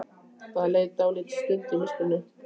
Það leið dálítil stund í myrkrinu.